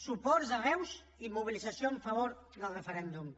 suports arreu i mobilització en favor del referèndum